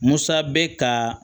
Musa bɛ ka